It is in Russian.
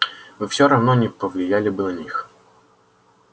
вы всё равно не повлияли бы на них